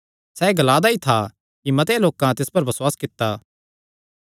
सैह़ एह़ गल्लां ग्ला दा ई था कि मते लोकां तिस पर बसुआस कित्ता